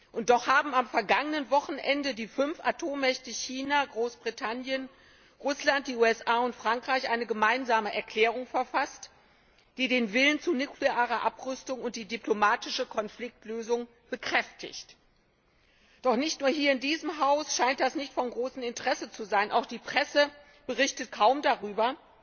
Und doch haben am vergangenen Wochenende die fünf Atommächte China, Großbritannien, Russland, die USA und Frankreich eine gemeinsame Erklärung verfasst, die den Willen zu nuklearer Abrüstung und die diplomatische Konfliktlösung bekräftigt. Doch nicht nur hier in diesem Haus scheint das nicht von großem Interesse zu sein. Auch die Presse berichtet kaum darüber,